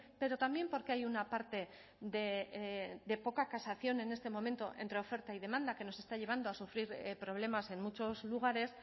pero también porque hay una parte de poca casación en este momento entre oferta y demanda que nos está llevando a sufrir problemas en muchos lugares